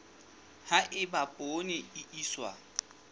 ha eba poone e iswa